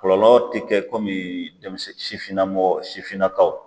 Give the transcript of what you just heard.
Kolɔlɔ te kɛ komi denmisɛn sifinnamɔgɔw sifinnakaw